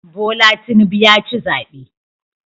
Bola Tinubu ya ci zabe